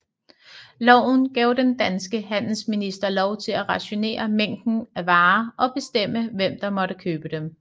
Loven gav den danske handelsminister lov til at rationere mængden af varer og bestemme hvem der måtte købe dem